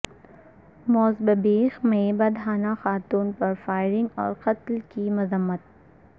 موزمبیق میں برہنہ خاتون پر فائرنگ اور قتل کی مذمت